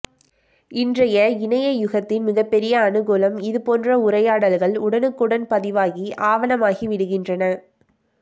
இன்றைய இணைய யுகத்தின் மிகப்பெரிய அனுகூலம் இதுபோன்ற உரையாடல்கள் உடனுக்குடன் பதிவாகி ஆவணமாகி விடுகின்றன